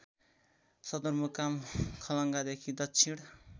सदरमुकाम खलङ्गादेखि दक्षिण